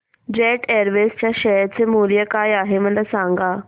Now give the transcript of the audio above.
jet Airways च्या share चे मूल्य काय आहे मला सांगा